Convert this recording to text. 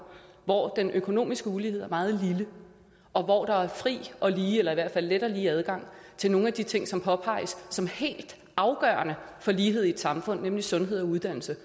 hvor den økonomiske ulighed er meget lille og hvor der er fri og lige eller i hvert fald let og lige adgang til nogle af de ting som påpeges som helt afgørende for lighed i et samfund nemlig sundhed og uddannelse